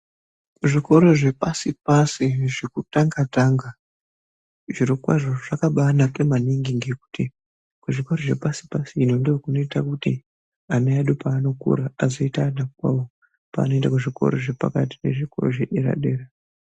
Kuzvikora zvepashi-pashi, zvirokwazvo zvakabaanaka maningi ngekuti kuzvikora zvepashi-pashi ino, ndikwo kunoita kuti ana edu peanokura azoita ana kwawo peanoenda kuzvikora zvepakati nezvikora zvedera-dera.